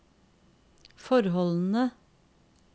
forholdene